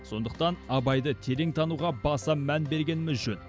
сондықтан абайды терең тануға баса мән бергеніміз жөн